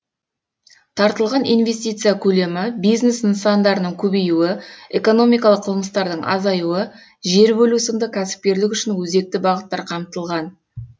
тартылған инвестиция көлемі бизнес нысандарының көбеюі экономикалық қылмыстардың азаюы жер бөлу сынды кәсіпкерлік үшін өзекті бағыттар қамтылған